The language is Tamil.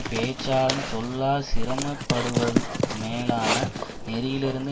பேச்சாளன் சொல்லா சிறுமைப்படுவது மேலான நெறியிலிருந்து